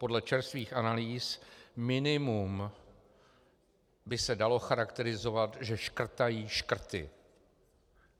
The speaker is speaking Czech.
Podle čerstvých analýz minimum by se dalo charakterizovat, že škrtají škrty.